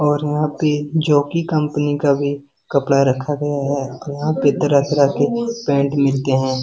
और यहाँ पे जॉकी कंपनी का भी कपड़ा रखा गया है यहाँ पर तरह-तरह केपैंट मिलते हैं।